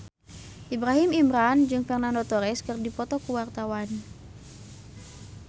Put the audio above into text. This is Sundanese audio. Ibrahim Imran jeung Fernando Torres keur dipoto ku wartawan